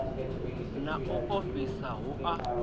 na u ofhisa hu a